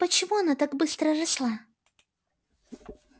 почему она так быстро росла